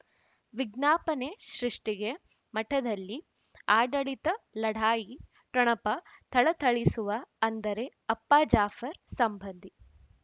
ವಿಜ್ಞಾಪನೆ ಸೃಷ್ಟಿಗೆ ಮಠದಲ್ಲಿ ಆಡಳಿತ ಲಢಾಯಿ ಠೊಣಪ ಥಳಥಳಿಸುವ ಅಂದರೆ ಅಪ್ಪ ಜಾಫರ್ ಸಂಬಂಧಿ